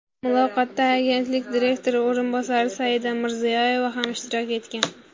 Muloqotda agentlik direktori o‘rinbosari Saida Mirziyoyeva ham ishtirok etgan.